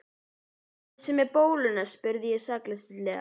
Þessi með bóluna? spurði ég sakleysislega.